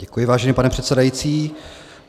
Děkuji, vážený pane předsedající.